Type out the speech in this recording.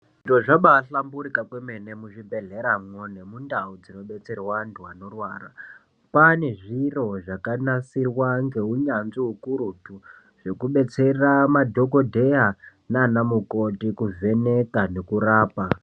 Zviro zvabahlamburika kwemene muzvibhedhleramwo nemundau dzinobetserwa antu anorwara. Kwane zviro zvakanasirwa ngeunyanzvi hukurutu, zvekubetsera madhogodheya nana mukoti kuvheneka nekurapa.